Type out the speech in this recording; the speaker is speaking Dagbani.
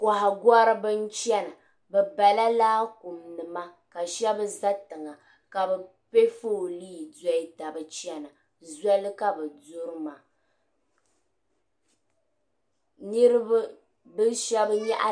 Kɔhigɔriba n-chana bɛ bala laakuma ka shɛba za tiŋa ka bɛ pe foolii doli taba chana zoli ka bɛ duri maa.